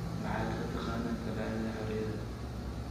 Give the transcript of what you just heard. maxaad ka taqaana taalada xoriyada